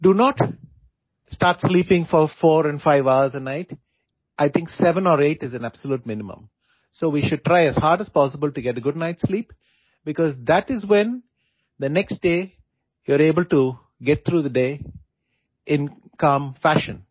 Do not start sleeping for four and five hours a night, I think seven or eight is a absolute minimum so we should try as hard as possible to get good night sleep, because that is when the next day you are able to get through the day in calm fashion